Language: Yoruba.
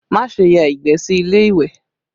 Má ṣe ya ìgbẹ́ sí ilé ìwẹ̀!